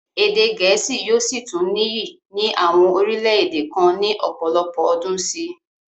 Èdè gẹ̀ẹ́sì yóò sì tún níyì ní àwọn orílẹ-èdè kan ní ọ̀pọ̀lọpọ̀ ọdún sí i.